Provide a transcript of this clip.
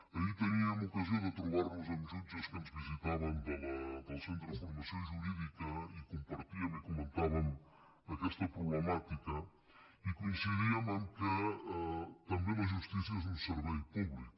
ahir teníem ocasió de trobar·nos amb jut·ges que ens visitaven del centre de formació jurídica i compartíem i comentàvem aquesta problemàtica i co·incidíem que també la justícia és un servei públic